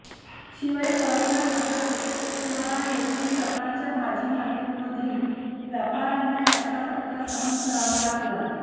शिवाय तरोडा नाका तसेच इतवारा येथील सकाळच्या भाजीमार्केटमधील व्यापाऱ्यांना याचा फटका सहन करावा लागला